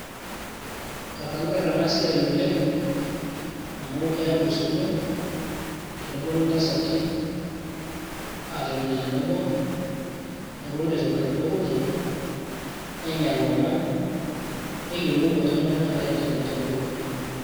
ekanyorr ena siai oleng amu keyau osotua teneponu intasati aatoni tenebo neponu aitobirr inkukurto nenya ilomon neyiolou ajo kanyio nagira aendelea temurua.